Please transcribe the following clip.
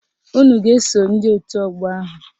Unu ga-eso ndị otu ọgbọ ahụ.